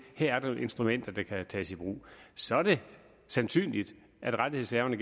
her er instrumenter der kan tages i brug så er det sandsynligt at rettighedshaverne